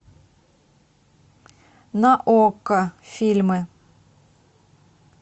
на окко фильмы